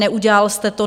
Neudělal jste to.